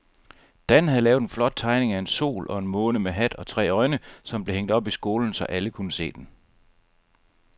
Dan havde lavet en flot tegning af en sol og en måne med hat og tre øjne, som blev hængt op i skolen, så alle kunne se den.